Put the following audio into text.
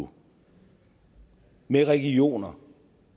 nu med regioner